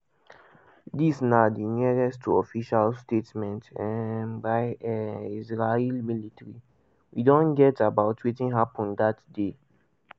dis na di nearest to official statement um by um israel military we don get about wetin happun dat day.